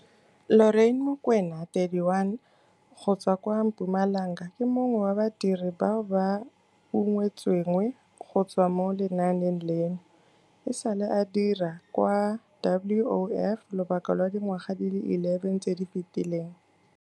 Lorraine Mokoena, 31, go tswa kwa Mpumalanga ke mongwe wa badiri bao ba ungwetsweng go tswa mo lenaaneng leno. E sale a dira kwa WOF lobaka lwa dingwaga di le 11 tse di fetileng.